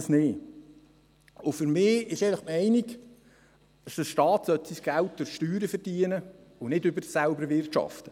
Meine Meinung ist, dass der Staat sein Geld durch Steuern verdienen sollte und nicht durch Selbst-Erwirtschaften.